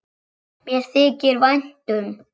Mér þykir vænt um